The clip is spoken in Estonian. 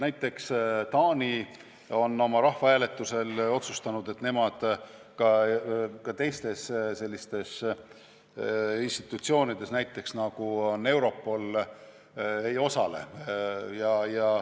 Näiteks on Taani rahvahääletusel otsustanud, et nemad ka teistes sellistes institutsioonides, nagu on näiteks Europol, ei osale.